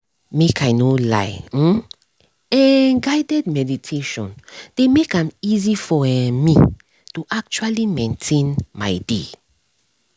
make i no lie [um][um]guided meditation dey make am easy for um me to actually maintain my dey